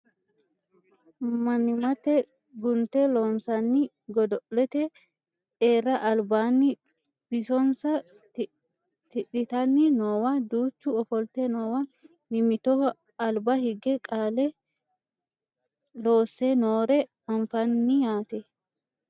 mannimmate guunte loossaanni godo'lete e'ara albaanni bisonsa tidhitanni noowa duchu ofolte noowa mimmitoho alba higge qale loosse noore anfanni yaate